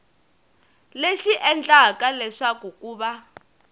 lexi endlaka leswaku ku va